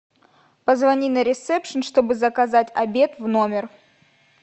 позвони на ресепшн чтобы заказать обед в номер